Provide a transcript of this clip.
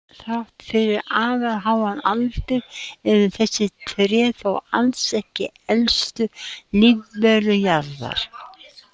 Þrátt fyrir afar háan aldur eru þessi tré þó alls ekki elstu lífverur jarðar.